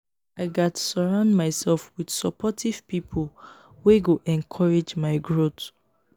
i gats surround myself with supportive pipo wey go encourage my growth.